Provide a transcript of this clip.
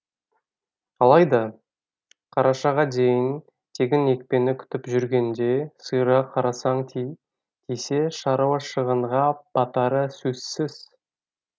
алайда қарашаға дейін тегін екпені күтіп жүргенде сиырға қарасан тисе шаруа шығынға батары сөзсіз